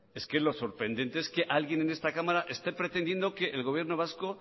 es que lo sorprendente es que alguien en esta cámara esté pretendiendo que el gobierno vasco